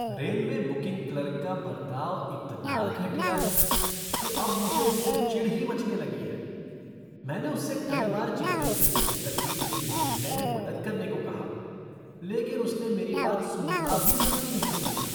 Railway booking clerk का बर्ताव इतना घटिया है कि अब मुझे उससे चिढ़ ही मचने लगी है, मैंने उससे कई बार चेन्नई से दिल्ली तक की ट्रेन ढूंढने में मदद करने को कहा, लेकिन उसने मेरी बात सुनना भी ज़रूरी नहीं समझा।